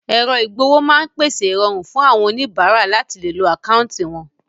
Èrọ ìgb'owó máa ń pèsè ìrọ̀rùn fún àwọn oníbàárà láti lè lo àkáńtì wọn